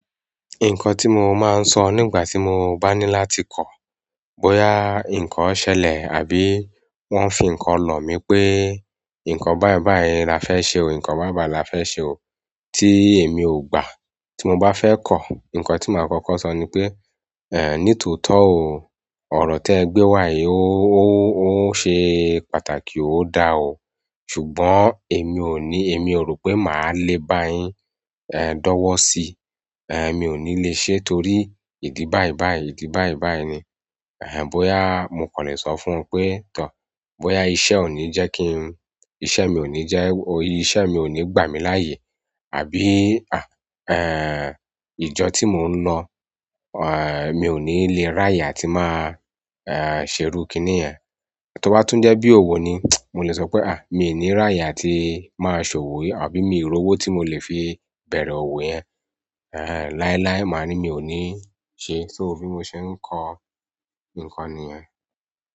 Nǹkan tí mo máa ń sọ nígbà tí mo bá ní láti kọ̀, bóyá nǹkan ṣẹlẹ̀ àbí wọ́n fi nǹkan lọ̀ mí pé nǹkan báyìí báyìí la fẹ́ ṣe o, nǹkan báyìí báyìí la fẹ́ ṣe o tí èmi ò gbà, tí mo bá fẹ́ kọ̀, nǹkan tí mo máa kọ́kọ́ sọ ni pé, "ní tòótọ́ o, ọ̀rọ̀ tí ẹ gbé wá yìí, ó ṣe pàtàkì, ó da o, ṣùgbọ́n èmi ò ní, èmi ò rò pé màá lè bá yín, dọ́wọ́ sí i, mi ò ní lè ṣe é torí ìdí báyìí báyìí, ìdí báyìí báyìí ni." bóyá mo kàn lè sọ fún wọn pé, "Tọ̀, bóyá iṣẹ́ ò ní jẹ́ kí n, iṣẹ́ mi ò ní jẹ́, iṣẹ́ mi ò ní gbà mí láàyè àbí, ìjọ tí mò ń lọ, mi ò ní lè ráyè àti màá, ṣe irúu kiní yẹn." Tí ó bá tún jẹ́ bí òwò ni, mo lè sọ pé, "mi ò ní ráyè àti máa ṣòwò yìí àbí mi ò rí owó tí mo lè fi bẹ̀rẹ̀ òwò yẹn." láíláí mà á ní mi ò ní ṣe é, so, bí mo ṣe ń kọ nǹkan nìyẹn.